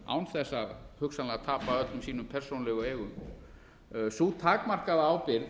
án þess að tapa hugsanlega öllum sínum persónulegu eigum sú takmarkaða ábyrgð